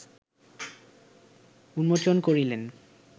উন্মোচন করিলেন